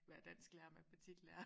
Være dansklærer og matematiklærer